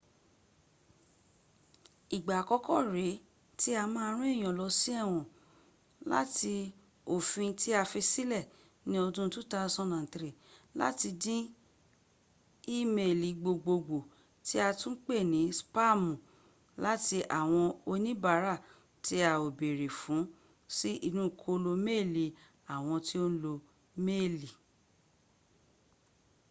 igba akọkọ ree ti a ma ran eyan lọ si ẹwọn lati ofin ti a fi silẹ ni ọdun 2003 lati din imeeli gbogbogbo ti a tun pe ni spaami lati awọn onibaara ti a o beere fun si inu kolo meeli awọn to n lo imeeli